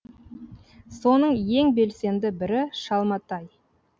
соның ең белсенді бірі шалматай